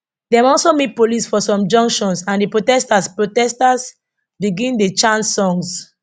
dem also meet police for some junctions and di protesters protesters begin dey chant songs